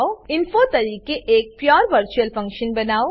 Info તરીકે એક pure virtual function બનાવો